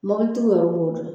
Mobilitigiw yɛrɛ b'o dɔn